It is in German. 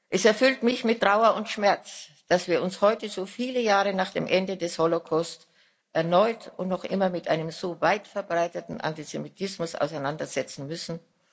Es erfüllt mich mit Trauer und Schmerz, dass wir uns heute, so viele Jahre nach dem Ende des Holocaust, erneut und noch immer mit einem so weit verbreiteten Antisemitismus auseinandersetzen müssen.